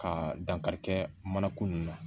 Ka dankarikɛ mana ko nunnu na